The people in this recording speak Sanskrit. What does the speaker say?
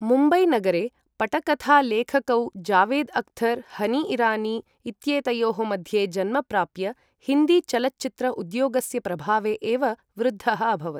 मुम्बई नगरे पटकथालेखकौ जावेद अख्तर हनी इरानी इत्येतयोः मध्ये जन्म प्राप्य हिन्दी चलच्चित्र उद्योगस्य प्रभावे एव वृद्धः अभवत् ।